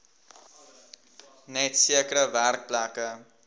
net sekere werkplekke